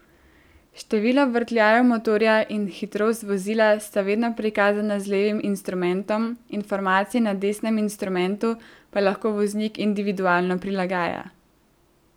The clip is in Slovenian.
Število vrtljajev motorja in hitrost vozila sta vedno prikazana z levim instrumentom, informacije na desnem instrumentu pa lahko voznik individualno prilagaja.